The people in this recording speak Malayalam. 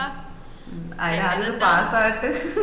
അയിന് ആത്യം pass ആവട്ടെ